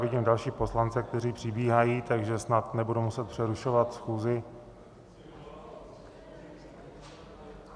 Vidím další poslance, kteří přibíhají, takže snad nebudu muset přerušovat schůzi.